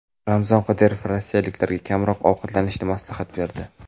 Ramzan Qodirov rossiyaliklarga kamroq ovqatlanishni maslahat berdi.